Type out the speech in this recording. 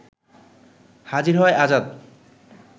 হাজির হয় আজাদ